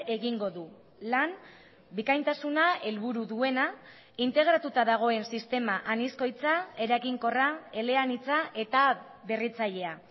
egingo du lan bikaintasuna helburu duena integratuta dagoen sistema anizkoitza eraginkorra eleanitza eta berritzailea